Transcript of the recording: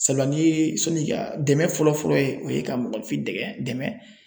Sabula ni ye sɔnni ka dɛmɛ fɔlɔfɔlɔ ye o ye ka mɔgɔninfin dɛgɛ dɛmɛ